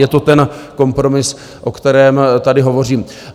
Je to ten kompromis, o kterém tady hovořím.